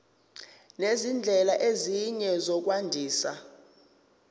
nezindlela ezinye zokwandisa